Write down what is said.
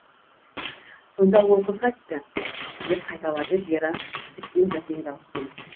сонда ол қыз қайтті деп қайталады вера тіптен бәсең дауыспен